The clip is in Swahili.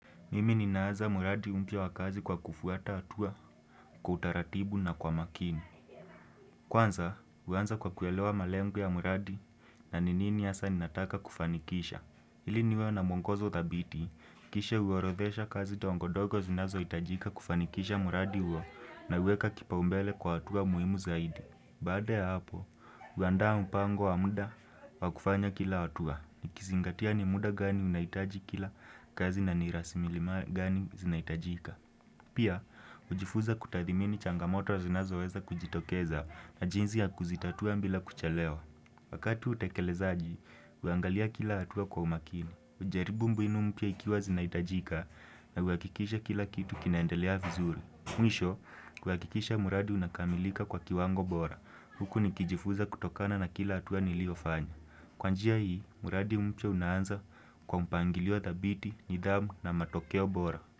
Mimi ninaanza mradi mpya wa kazi kwa kufuata hatua, kwa utaratibu na kwa makini. Kwanza, huanza kwa kuelewa malengu ya mradi na ni nini hasa ninataka kufanikisha. Hili niwe na mwongozo thabiti, kisha uorodhesha kazi tongodogo zinazohitajika kufanikisha muradi huo nauweka kipaumbele kwa hatua muhimu zaidi. Baada ya hapo, huandaa mpango wa muda wa kufanya kila hatua. Nikizingatia ni muda gani ninaitaji kila kazi na ni rasmilmali gani zinahitajika. Pia, ujifuza kutadhimini changamoto zinazoweza kujitokeza na jinzi ya kuzitatua bila kuchelewa. Wakati utekelezaji, huangalia kila hatua kwa umakini. hUjaribu mbinu mpya ikiwa zinahitajika na huakikisha kila kitu kinaendelea vizuri. Mwisho, kuhakikisha mradi unakamilika kwa kiwango bora, huku nikijifuza kutokana na kila hatua niliofanya. Kwa njia hii, muradi mpya unaanza kwa mpangiliwa thabiti, nidhamu na matokeo bora.